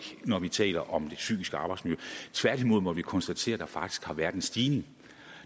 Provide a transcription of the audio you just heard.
når vi taler om det psykiske arbejdsmiljø tværtimod må vi konstatere at der faktisk har været en stigning